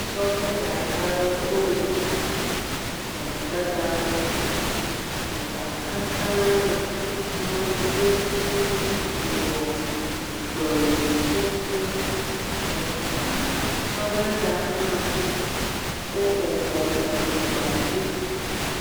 Sɔveda aɖe wole gbedadaƒo. Gbe katã le afi ma woku wɔ gbe ƒuƒu eer ah sɔveda hã wobɔbɔ le gbea ɖum.